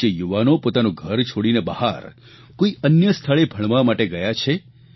જે યુવાનો પોતાનું ઘર છોડીને બહાર કોઇ અન્ય સ્થળે ભણવા માટે ગયા છે